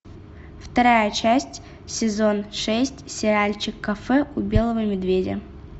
вторая часть сезон шесть сериальчик кафе у белого медведя